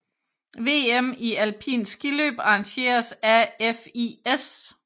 VM i alpint skiløb arrangeret af FIS